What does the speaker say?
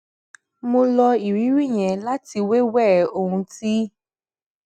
mo lo ìrírí yẹn láti wéwèé ohun tí